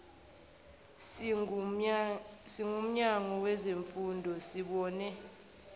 singumnyango wezemfundo sibone